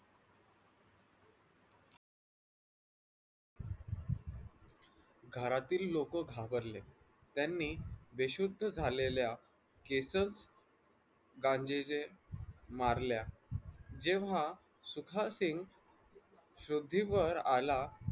घरातील लोक घाबरले त्यांनी बेशुद्ध झालेल्या केस गांजेजे मारल्या जेव्हा सुखासिंग शुद्धीवर आला